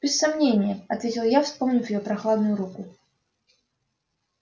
без сомнения ответил я вспомнив её прохладную руку